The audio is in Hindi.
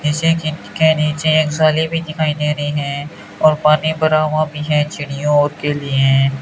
जैसे कि इसके नीचे भी दिखाई रही है और पानी भरा हुआ भी है चिड़ियों के लिए।